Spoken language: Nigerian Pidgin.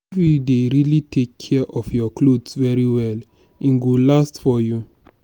if you dey really take care of your clothes very well e go last for you